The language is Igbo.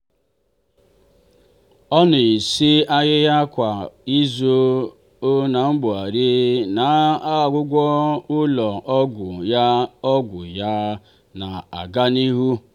ọ na-esi ahịhịa kwa izu n'agbanyeghị na ọgwụgwọ ụlọ ọgwụ ya ọgwụ ya na-aga n'ihu.